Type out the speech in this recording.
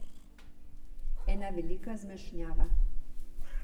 Ena velika zmešnjava.